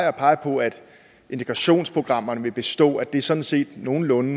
at pege på at integrationsprogrammerne vil bestå og at det sådan set nogenlunde